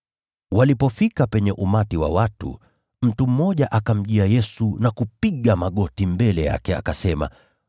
Walipofika penye umati wa watu, mtu mmoja akamjia Yesu na kupiga magoti mbele yake, akasema,